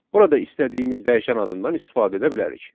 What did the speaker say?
Burada istədiyimiz dəyişən adından istifadə edə bilərik.